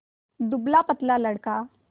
दुबलापतला लड़का